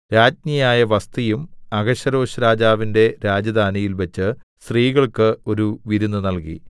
രാജ്ഞിയായ വസ്ഥിയും അഹശ്വേരോശ്‌രാജാവിന്റെ രാജധാനിയിൽ വച്ച് സ്ത്രീകൾക്ക് ഒരു വിരുന്ന് നൽകി